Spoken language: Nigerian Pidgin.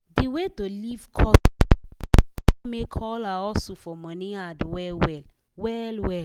de way to live cost for city com make all her hustle for money hard well well. well well.